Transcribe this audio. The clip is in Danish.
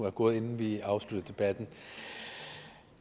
er gået inden vi afslutter debatten